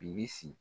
Bibi